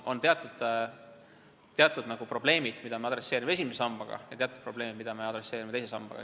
On teatud probleemid, mida me võtame arvesse esimese sambaga, ja teatud probleemid, mida me võtame arvesse teise sambaga.